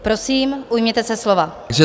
Prosím, ujměte se slova.